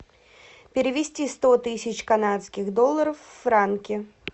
перевести сто тысяч канадских долларов в франки